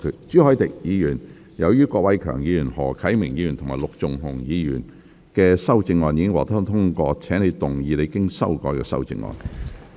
朱凱廸議員，由於郭偉强議員、何啟明議員及陸頌雄議員的修正案已獲得通過，請動議你經修改的修正案。